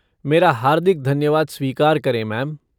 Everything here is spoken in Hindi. मेरा हार्दिक धन्यवाद स्वीकार करें, मैम!